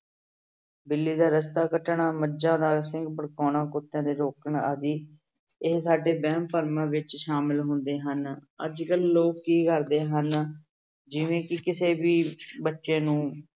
ਬਿੱਲੀ ਦਾ ਰਾਸਤਾ ਕੱਟਣਾ, ਮੱਝਾਂ ਦਾ ਸਿੰਘ ਭੜਕਾਉਣਾ, ਕੁੱਤਿਆਂ ਦੇ ਰੋਕਣ ਆਦਿ ਇਹ ਸਾਡੇ ਵਹਿਮ ਭਰਮਾਂ ਵਿੱਚ ਸਾਮਿਲ ਹੁੰਦੇ ਹਨ, ਅੱਜ ਕੱਲ੍ਹ ਲੋਕ ਕੀ ਕਰਦੇ ਹਨ ਜਿਵੇਂ ਕਿ ਕਿਸੇ ਵੀ ਬੱਚੇ ਨੂੰ